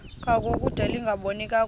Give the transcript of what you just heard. ngangokude lingaboni kakuhle